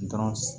Dɔrɔn